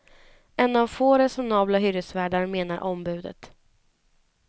En av få resonabla hyresvärdar, menar ombudet.